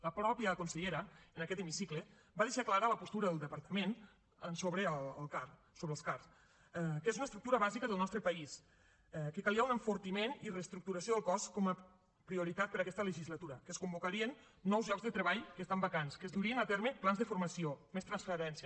la mateixa consellera en aquest hemicicle va deixar clara la postura del departament sobre el car sobre el car que és una estructura bàsica del nostre país que calia un enfortiment i reestructuració del cos com a prioritat per a aquesta legislatura que es convocarien nous llocs de treball que estan vacants que es durien a terme plans de formació més transparència